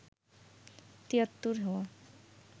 তিয়াত্তর হওয়া